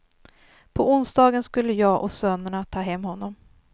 På onsdagen skulle jag och sönerna ta hem honom.